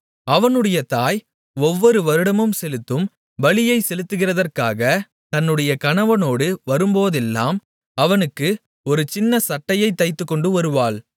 அவனுடைய தாய் ஒவ்வொரு வருடந்தோறும் செலுத்தும் பலியைச் செலுத்துகிறதற்காக தன்னுடைய கணவனோடு வரும்போதெல்லாம் அவனுக்கு ஒரு சின்னச் சட்டையைத் தைத்துக் கொண்டு வருவாள்